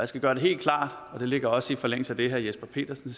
skal gøre det helt klart det ligger også i forlængelse af det herre jesper petersen